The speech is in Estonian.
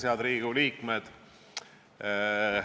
Head Riigikogu liikmed!